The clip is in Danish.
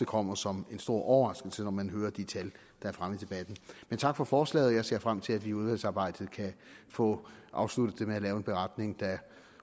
kommer som en stor overraskelse når man hører de tal der er fremme i debatten men tak for forslaget jeg ser frem til at vi i udvalgsarbejdet kan få afsluttet det med at lave en beretning der